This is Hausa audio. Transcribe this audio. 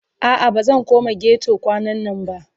A'a bazan koma ghetto kwanannan ba